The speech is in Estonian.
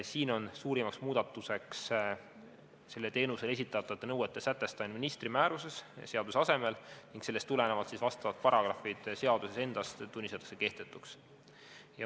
Siin on suurim muudatus sellele teenusele esitatavate nõuete sätestamine ministri määruses seaduse asemel ning sellest tulenevalt tunnistatakse vastavad paragrahvid seaduses endas kehtetuks.